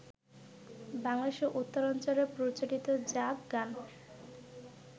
বাংলাদেশের উত্তরাঞ্চলে প্রচলিত জাগ গান